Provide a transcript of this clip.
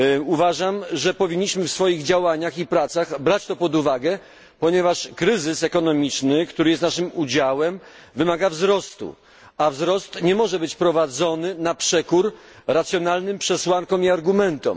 Uważam, że powinniśmy w swoich działaniach i pracach brać to pod uwagę, ponieważ kryzys ekonomiczny, który jest naszym udziałem, wymaga wzrostu, a wzrost nie może być posiągany na przekór racjonalnym przesłankom i argumentom.